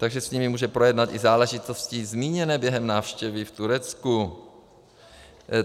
Takže s nimi může projednat i záležitosti zmíněné během návštěvy v Turecku.